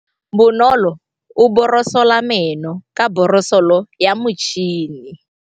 Bonolô o borosola meno ka borosolo ya motšhine.